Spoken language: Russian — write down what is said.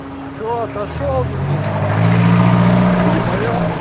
что отошёл денис переболел